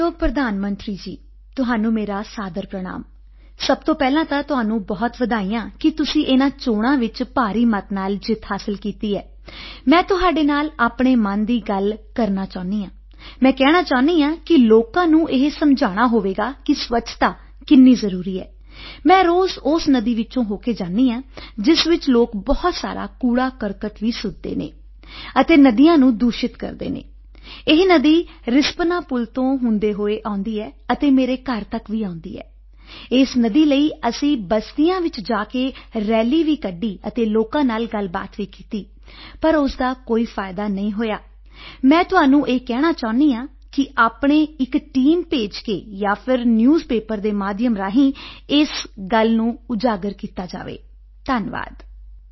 ਮਾਣਯੋਗ ਪ੍ਰਿੰਸੀਪਲ ਪ੍ਰਧਾਨ ਮੰਤਰੀ ਜੀ ਤੁਹਾਨੂੰ ਮੇਰਾ ਸਾਦਰ ਪ੍ਰਣਾਮ ਸਭ ਤੋਂ ਪਹਿਲਾਂ ਤਾਂ ਤੁਹਾਨੂੰ ਬਹੁਤ ਵਧਾਈਆਂ ਕਿ ਤੁਸੀਂ ਇਨ੍ਹਾਂ ਚੋਣਾਂ ਵਿੱਚ ਭਾਰੀ ਮਤ ਨਾਲ ਜਿੱਤ ਹਾਸਿਲ ਕੀਤੀ ਹੈ ਮੈਂ ਤੁਹਾਡੇ ਨਾਲ ਆਪਣੇ ਮਨ ਦੀ ਗੱਲ ਕਰਨਾ ਚਾਹੁੰਦੀ ਹਾਂ ਮੈਂ ਕਹਿਣਾ ਚਾਹੁੰਦੀ ਹਾਂ ਕਿ ਲੋਕਾਂ ਨੂੰ ਇਹ ਸਮਝਾਉਣਾ ਹੋਵੇਗਾ ਕਿ ਸਵੱਛਤਾ ਕਿੰਨੀ ਜ਼ਰੂਰੀ ਹੈ ਮੈਂ ਰੋਜ਼ ਉਸ ਨਦੀ ਵਿੱਚੋਂ ਹੋ ਕੇ ਜਾਂਦੀ ਹਾਂ ਜਿਸ ਵਿੱਚ ਲੋਕ ਬਹੁਤ ਸਾਰਾ ਕੂੜਾਕਰਕਟ ਵੀ ਸੁੱਟਦੇ ਹਨ ਅਤੇ ਨਦੀਆਂ ਨੂੰ ਦੂਸ਼ਿਤ ਕਰਦੇ ਹਨ ਇਹ ਨਦੀ ਰਿਸਪਨਾ ਪੁਲ ਤੋਂ ਹੁੰਦੇ ਹੋਏ ਆਉਂਦੀ ਹੈ ਅਤੇ ਮੇਰੇ ਘਰ ਤੱਕ ਵੀ ਆਉਂਦੀ ਹੈ ਇਸ ਨਦੀ ਲਈ ਅਸੀਂ ਬਸਤੀਆਂ ਵਿੱਚ ਜਾ ਕੇ ਰੈਲੀ ਵੀ ਕੱਢੀ ਅਤੇ ਲੋਕਾਂ ਨਾਲ ਗੱਲਬਾਤ ਵੀ ਕੀਤੀ ਪਰ ਉਸ ਦਾ ਕੋਈ ਫਾਇਦਾ ਨਹੀਂ ਹੋਇਆ ਮੈਂ ਤੁਹਾਨੂੰ ਇਹ ਕਹਿਣਾ ਚਾਹੁੰਦੀ ਹਾਂ ਕਿ ਆਪਣੀ ਇਕ ਟੀਮ ਭੇਜ ਕੇ ਜਾਂ ਫਿਰ ਨਿਊਜ਼ ਪੇਪਰ ਦੇ ਮਾਧਿਅਮ ਰਾਹੀਂ ਇਸ ਗੱਲ ਨੂੰ ਉਜਾਗਰ ਕੀਤਾ ਜਾਵੇ ਧੰਨਵਾਦ